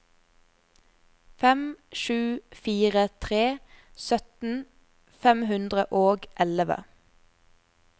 fem sju fire tre sytten fem hundre og elleve